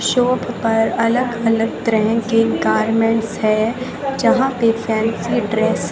shop पर अलग अलग तरह के गारमेंट्स है जहां पे फैंसी ड्रेस --